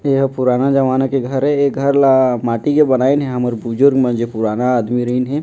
ऐ हा पुराने जमाना के घर ऐ ऐ घर ला माटी के बनाईन हे हमर बुजुर्ग मन जे पुराना आदमी रइन हे।